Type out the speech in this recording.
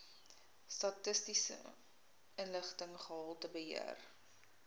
statistiese inligting gehaltebeheer